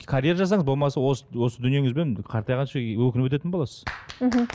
карьера жасаңыз болмаса осы осы дүниеңізбен қартайғанша өкініп өтетін боласыз мхм